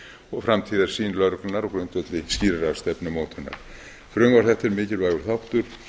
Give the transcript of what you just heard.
og framtíðarsýn lögreglunnar á grundvelli skýrrar stefnumótunar frumvarp þetta er mikilvægur þáttur